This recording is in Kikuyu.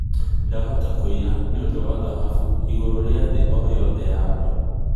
ndahota kũiya nĩ ũndũ wa dhahabũ igũrũ ria thĩ o yothe ya andũ